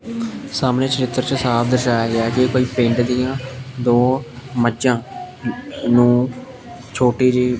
ਸਾਹਮਣੇ ਚਰਿੱਤਰ ਚ ਸਾਫ ਦਰਸ਼ਾਇਆ ਗਿਆ ਕਿ ਕੋਈ ਪਿੰਡ ਦੀਆਂ ਦੋ ਮੱਜਾਂ ਨੂੰ ਛੋਟੀ ਜਿਹੀ --